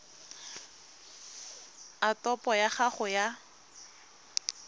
a topo ya gago ya